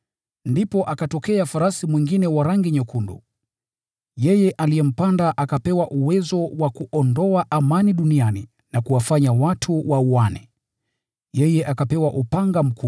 Ndipo akatokea farasi mwingine mwekundu sana. Yeye aliyempanda akapewa uwezo wa kuondoa amani duniani na kuwafanya watu wauane. Yeye akapewa upanga mkubwa.